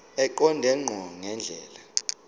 eqonde ngqo ngendlela